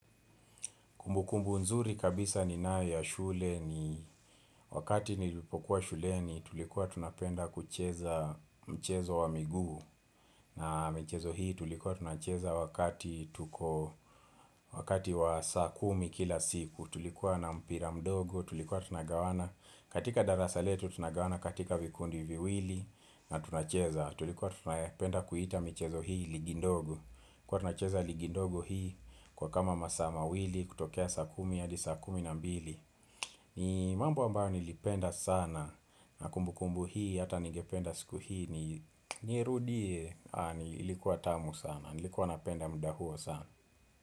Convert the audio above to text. Kumbukumbu nzuri kabisa ni naye ya shule ni wakati nilipokuwa shule ni tulikuwa tunapenda kucheza mchezo wa miguu na mchezo hii tulikuwa tunacheza wakati tuko wakati wa saa kumi kila siku tulikuwa na mpira mdogo tulikuwa tunagawana katika darasa letu tunagawana katika vikundi viwili na tunacheza tulikuwa tunapenda kuita mchezo hii ligi ndogo Kwa na cheza ligi ndogo hii Kwa kama masaa ma wili kutokea sa kumi hadi sa kumi na mbili ni mambo ambayo nilipenda sana Nakumbu kumbu hii Hata nigependa siku hii nirudi Nilikuwa tamu sana Nilikuwa napenda muda huo sana.